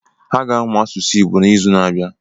Ha ga-amụ asụsụ Igbo n'izu na-abịa.